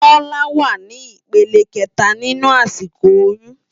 Tola wá ni ipélé ikètá ninú àsikó óyùn